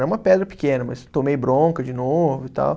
Era uma pedra pequena, mas tomei bronca de novo e tal.